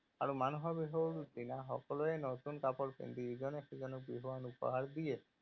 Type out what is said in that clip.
আৰু মানুহৰ বিহুৰ দিনা সকলোৱে নতুন কাপোৰ পিন্ধি ইজনে সিজনক বিহুৱান উপহাৰ দিয়ে।